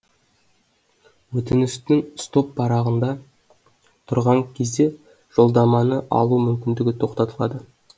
өтініштің стоп парағында тұрған кезде жолдаманы алу мүмкіндігі тоқтатылады